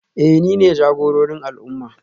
Eh nine jagororin al'umma